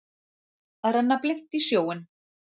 Að renna blint í sjóinn